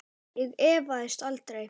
Ég efaðist aldrei.